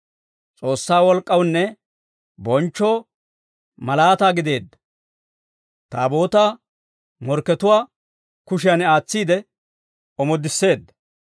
S'oossaa wolk'k'awunne bonchchoo, malaataa gideedda, Taabootaa morkkatuwaa kushiyan aatsiide omoodisseedda.